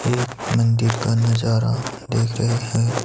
ये एक मंदिर का नजारा देख रहे हैं।